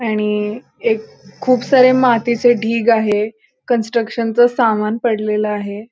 आणि अ एक खुप सारे मातीचे ढीग आहे कंस्ट्रक्शन च सामान पडलेल आहे.